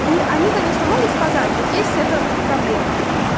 и они конечно могут сказать вот есть это проблема